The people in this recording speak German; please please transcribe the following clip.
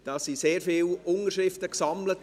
Es wurden sehr viele Unterschriften gesammelt.